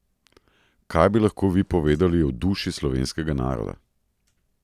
Kaj bi lahko vi povedali o duši slovenskega naroda?